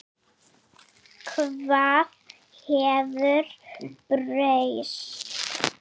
Hvað hefur breyst?